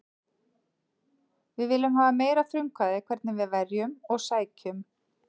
Við viljum hafa meira frumkvæði hvernig við verjum og sækjum.